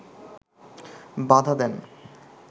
বাধা দেন